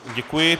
Děkuji.